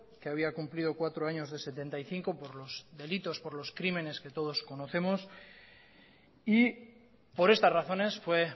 que había cumplido cuatro años de setenta y cinco por los delitos por los crímenes que todos conocemos y por estas razones fue